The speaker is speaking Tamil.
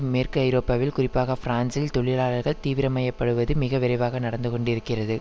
மேற்கு ஐரோப்பாவில் குறிப்பாக பிரான்சில் தொழிலாளர்கள் தீவிரமயப்படுவது மிக விரைவாக நடந்து கொண்டிருக்கிறது